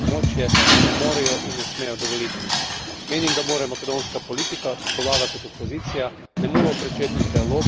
Menim, da mora makedonska politika, tako vlada kot opozicija, nemudoma pričeti z dialogom, ki bo državo rešila trenutne nestabilnosti.